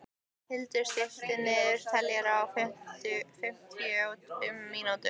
Hildar, stilltu niðurteljara á fimmtíu og fimm mínútur.